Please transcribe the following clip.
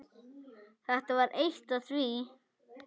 Þetta var eitt af því.